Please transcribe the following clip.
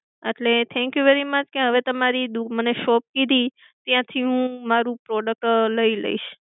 અટલે thank you very much કે હવે તમારી shop કીધી ત્યાંથી હું મારુ product લઈ લઇશ.